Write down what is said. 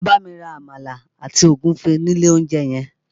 Lọ bámi ra Àmàlà àti Ògúfe ní ilé olóúnjẹ yẹn!